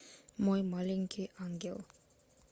мой маленький ангел